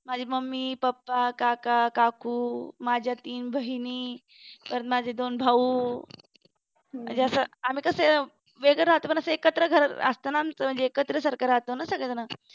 माझी mummy papa काका काकू माझ्या तीन बहिणी परत माझे दोन भाऊ म्हणजे असं आम्ही कसं वेगळा राहतो पण कसं एकत्र घरातच असताना म्हणजे एकत्र सारखं राहतो ना सगळेजण